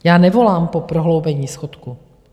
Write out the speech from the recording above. Já nevolám po prohloubení schodku.